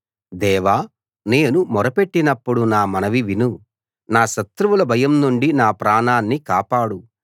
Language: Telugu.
దేవా నేను మొర పెట్టినప్పుడు నా మనవి విను నా శత్రువుల భయం నుండి నా ప్రాణాన్ని కాపాడు